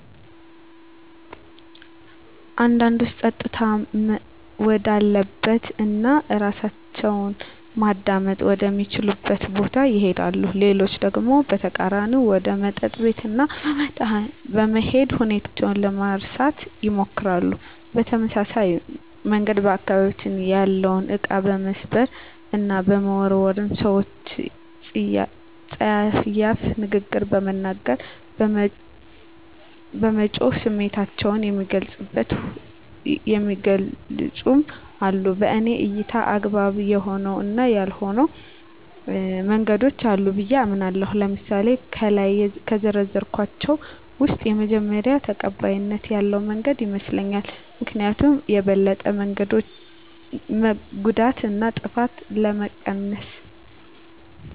አንዳንዶች ፀጥታ ወዳለበት እና እራሳቸውን ማዳመጥ ወደ ሚችሉበት ቦታ ይሄዳሉ። ሌሎች ደግሞ በተቃራኒው ወደ መጠጥ ቤት በመሄድ ሁኔታውን ለመርሳት ይሞክራሉ። በተመሳሳይ መንገድ በአካባቢያቸው ያለውን እቃ በመስበር እና በመወርወር፣ ሰወችን ፀያፍ ንግግር በመናገር፣ በመጮህ ስሜታቸውን የሚገልፁም አሉ። በኔ እይታ አግባብ የሆኑ እና ያልሆኑ መንገዶች አሉ ብየ አምናለሁ። ለምሳሌ ከላይ ከዘረዘርኳቸው ውስጥ የመጀመሪው ተቀባይነት ያለው መንገድ ይመስለኛል። ምክኒያቱም የበለጠ ጉዳትን እና ጥፋትን ስለሚቀንስ።